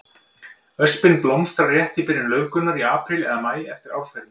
Öspin blómstrar rétt í byrjun laufgunar, í apríl eða maí eftir árferði.